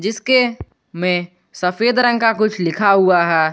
इसके में सफेद रंग का कुछ लिखा हुआ है।